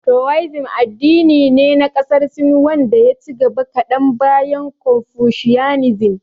Towaizim addini ne na ƙasar Sin wanda ya ci gaba kadan bayan konfushiyanizim.